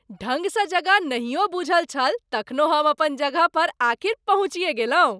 ढङ्गसँ जगह नहियो बूझल छल तखनो हम अपन जगह पर आखिर पहुँचिए गेलहुँ।